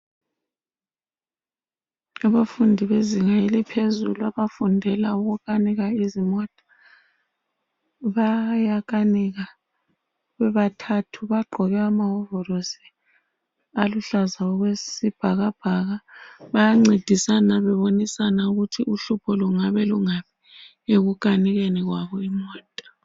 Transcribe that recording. Abafundi bezinga eliphezulu abafundela ukukanika izimota, bayakanika bebathathu. Bagqoke amawovorosi aluhlaza okwesibhakabhaka, bayancedisana bebonisana ukuthi uhlupho lungabe lungaphi ekukanikeni kwabo imota.